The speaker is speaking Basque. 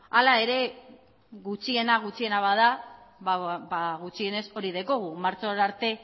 hala ere gutxiena gutxiena bada ba gutxienez hori daukagu martxora arte